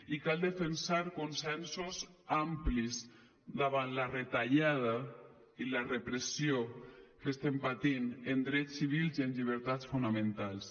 i cal defensar consensos amplis davant la retallada i la repressió que estem patint en drets civils i en llibertats fonamentals